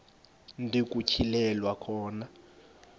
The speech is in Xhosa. ndi nokutyhilelwa khona